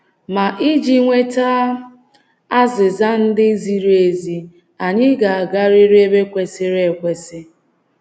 Ma iji nweta azịza ndị ziri ezi, anyị ga-agarịrị ebe kwesịrị ekwesị.